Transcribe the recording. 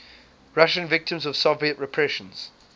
russian victims of soviet repressions